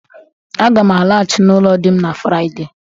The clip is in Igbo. Aga m alaghachi n'ụlọ di m na Fraịde